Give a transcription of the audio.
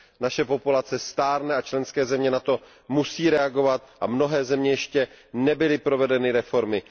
Naše populace stárne a členské země na to musí reagovat a v mnoha zemích ještě nebyly provedeny reformy.